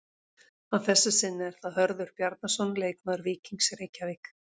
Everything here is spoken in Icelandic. Að þessu sinni er það Hörður Bjarnason leikmaður Víkings Reykjavík.